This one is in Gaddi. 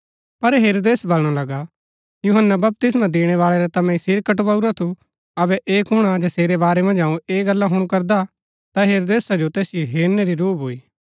पर हेरोदेस वलणा लगा यूहन्‍ना बपतिस्मा दिणैबाळै रा ता मैंई सिर कटवाऊरा थू अबै ऐह कुण हा जसेरै वारै मन्ज अऊँ ऐह गल्ला हुणु करदा ता हेरोदेसा जो तैसिओ हेरनै री रूह भूई